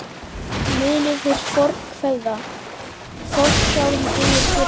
Munið hið fornkveðna: Forsjálum dugir fyrirvarinn.